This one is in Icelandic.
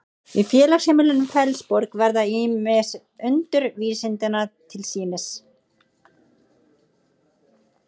í félagsheimilinu fellsborg verða ýmis undur vísindanna til sýnis